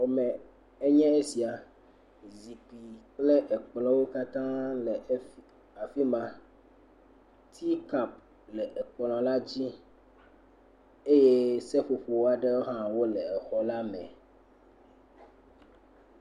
Xɔ me enye esia, zikpui kple ekplɔwo katã le afi ma, tea kapu le ekplɔ la dzi eye seƒoƒo aɖe hã wole exɔ la me.